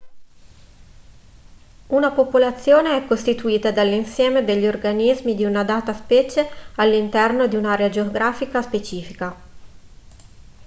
una popolazione è costituita dall'insieme degli organismi di una data specie all'interno di un'area geografica specifica